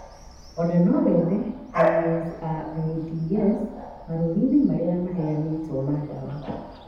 Ona no wethe NSAIDs marũri-inĩ marĩa maheanĩtwo ma ndawa